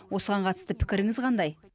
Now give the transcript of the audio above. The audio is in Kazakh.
осыған қатысты пікіріңіз қандай